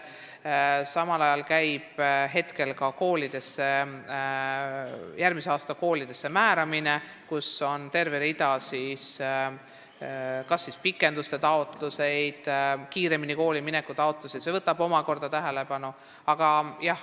Käib ka järgmiseks aastaks koolidesse määramine, kus on terve hulk kas pikenduste taotlusi või varem koolimineku taotlusi – see kõik vajab omakorda tähelepanu.